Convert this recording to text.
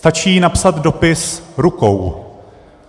Stačí napsat dopis rukou.